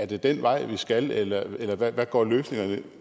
den vej vi skal eller eller hvad går løsningerne